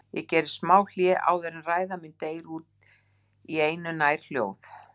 Ég geri smá hlé áður en ræða mín deyr út í einu nær hljóð